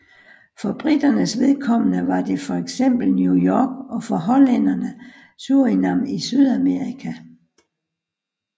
For briternes vedkommende var det fx New York og for hollænderne Surinam i Sydamerika